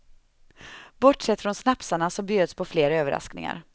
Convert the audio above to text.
Bortsett från snapsarna så bjöds på fler överraskningar.